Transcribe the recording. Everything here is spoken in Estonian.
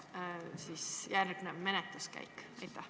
Kas selline on järgnev menetluskäik?